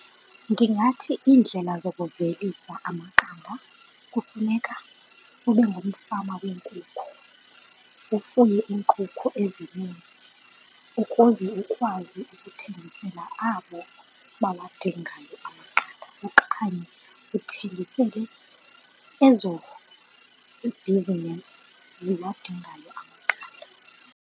Ndingathi iindlela zokuvelisa amaqanda kufuneka ube ngumfama weenkukhu. Ufuye iinkukhu ezininzi ukuze ukwazi ukuthengisela abo bawadingayo amaqanda okanye uthengisele ezo ii-business ziwadingayo amaqanda.